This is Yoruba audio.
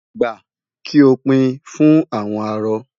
Gba! Kí o pín in fún àwọn arọ.